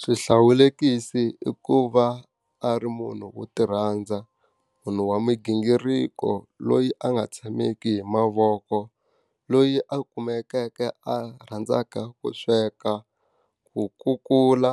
Swihlawulekisi i ku va a ri munhu wo ti rhandza, munhu wa migingiriko loyi a nga tshameki hi mavoko. loyi a a kumeke a rhandzaka ku sweka, ku kukula,